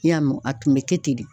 I y'a mɛn a tun be kɛ ten de.